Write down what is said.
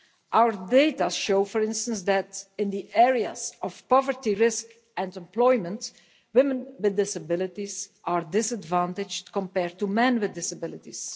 Our data show, for instance, that in the areas of poverty risk and employment, women with disabilities are disadvantaged compared to men with disabilities.